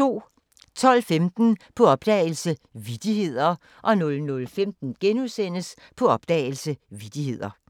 12:15: På opdagelse – Vittigheder 00:15: På opdagelse – Vittigheder *